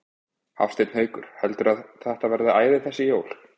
Hafsteinn Hauksson: Heldurðu að þetta verði æði þessi jólin?